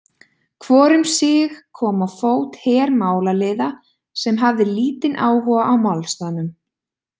Hvor um sig kom á fót her málaliða, sem hafði lítinn áhuga á málstaðnum.